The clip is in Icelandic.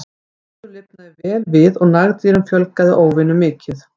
Gróður lifnaði vel við og nagdýrum fjölgaði óvenju mikið.